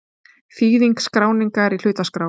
Þýðing skráningar í hlutaskrá.